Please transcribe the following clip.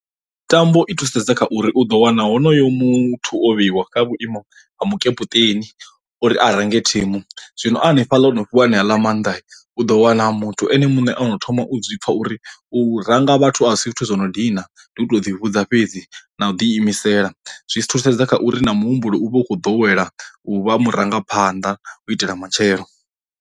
Mitambo i thusedza kha uri u ḓo wana honoyo muthu o vheiwa kha vhuimo ha mukepuṱeni uri a range thimu, zwino a hanefhaḽa ono fhiwa aneaḽa maanḓa u ḓo wana muthu ene muṋe ono thoma u u zwipfa uri u ranga vhathu a si zwithu zwo no dina ndi u to ḓi vhudza fhedzi na u ḓi imisela, zwi thusedza kha uri na muhumbulo u vha u khou ḓowela u vha murangaphanḓa u itela matshelo.